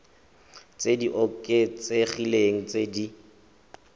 tse di oketsegileng tse di